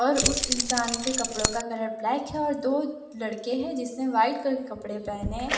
और उसे इंसान के कपड़ों का कलर ब्लैक है और दो लड़के हैं जिसेने व्हाइट कलर कपड़े पहने--